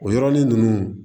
O yɔrɔnin ninnu